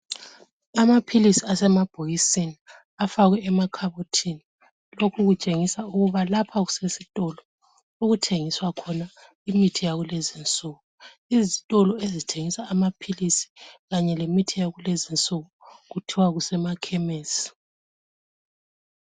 Amaphilisi asemabhokisini afakwe emakhabothini. Lokhu kutshengisa ukuba lapha kusesitolo okuthengiswa khona imithi yakulezi insuku. Izitolo ezithengisa amaphilisi kanye lemithi yakulezi insuku kuthiwa kusemakhemesi.